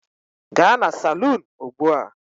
Gaa na salun ugbu a!